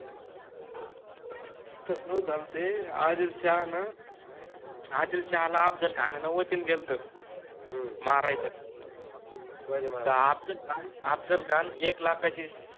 तस नव्हत झाल ते, आदिलशाहान, आदिलशाहाला अफजलखानान वचन देलत ह्म्म मारायच शिवाजि महाराजाला, त अफजलखान अफजलखान एक लाखाचि